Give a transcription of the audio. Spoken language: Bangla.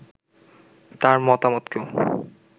তার মতামতকেও